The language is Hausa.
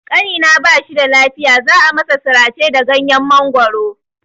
Ƙanina ba shida lafiya, za a masa sirace da ganyen mangoro.